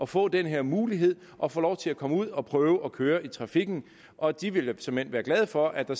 få den her mulighed og få lov til at komme ud og prøve at køre i trafikken og de ville såmænd være glade for at der